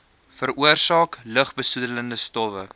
veroorsaak lugbesoedelende stowwe